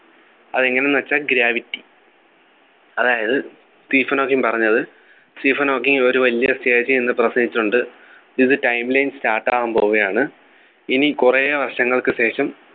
അതെങ്ങനെ ന്നു വെച്ചാ Gravity അതായത് സ്റ്റീഫൻ ഹോക്കിങ് പറഞ്ഞത് സ്റ്റീഫൻ ഹോക്കിങ് ഒരു വലിയ stage ൽ നിന്ന് പ്രസംഗിച്ചിട്ടുണ്ട് ഇത് timeline start ആവാൻ പോവുകയാണ് ഇനി കുറെ വർഷങ്ങൾക്കു ശേഷം